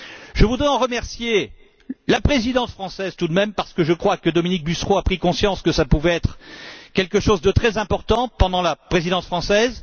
Je voudrais aussi remercier la Présidence française, parce que je crois que Dominique Bussereau a pris conscience que ça pouvait être quelque chose de très important pendant la Présidence française